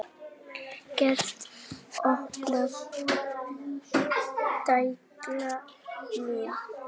Geiri, opnaðu dagatalið mitt.